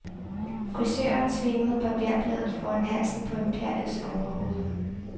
Frisøren svingede barberbladet foran halsen på imperiets overhoved,.